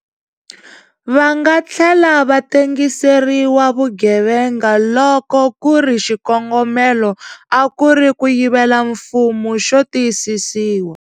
Va nga tlhela va tengiseriwa vugevenga loko ku ri xikongomelo a ku ri ku yivela mfumo xo tiyisisiwa.